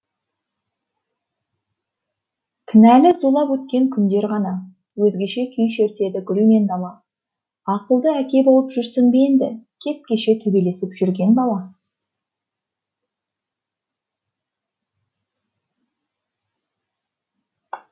кінәлі зулап өткен күндер ғана өзгеше күй шертеді гүл мен дала ақылды әке болып жүрсің бе енді кеп кеше төбелесіп жүрген бала